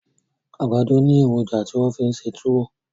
Àgbàdọ ni èròjà ti wọ́n fi ń ṣe túwó